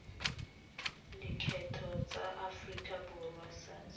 lekgetho tsa aforika borwa sars